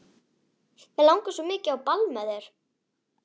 Mig langar svo mikið á ball með þér.